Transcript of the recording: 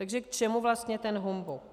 Takže k čemu vlastně ten humbuk?